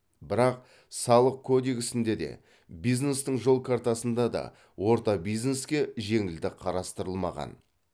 бірақ салық кодексінде де бизнестің жол картасында да орта бизнеске жеңілдік қарастырылмаған